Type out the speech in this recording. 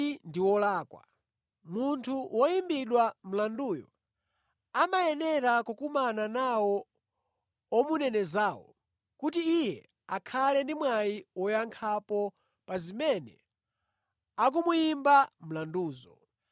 “Ine ndinawayankha kuti si mwambo wa Aroma kungomupereka munthu ayi. Munthu woyimbidwa mlanduyo amayenera kukumana nawo omunenezawo, kuti iye akhale ndi mwayi woyankhapo pa zimene akumuyimba mlanduzo.